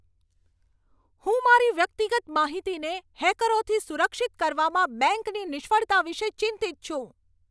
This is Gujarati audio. હું મારી વ્યક્તિગત માહિતીને હેકરોથી સુરક્ષિત કરવામાં બેંકની નિષ્ફળતા વિશે ચિંતિત છું.